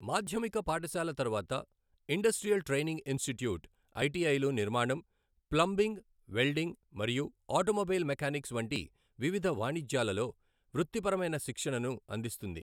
మాధ్యమిక పాఠశాల తర్వాత ఇండస్ట్రియల్ ట్రైనింగ్ ఇన్స్టిట్యూట్, ఐటిఐలు నిర్మాణం, ప్లంబింగ్, వెల్డింగ్ మరియు ఆటోమొబైల్ మెకానిక్స్ వంటి వివిధ వాణిజ్యాలలో వృత్తిపరమైన శిక్షణను అందిస్తుంది.